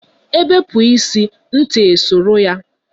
Ebepu ịsị, ntị e soro ya